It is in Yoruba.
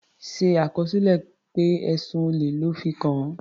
Ṣe àkọsílẹ̀ pé ẹ̀sùn olè lọ́ fi kàn án.